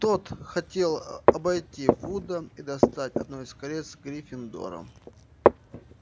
тот хотел обойти вуда и достать одно из колец гриффиндора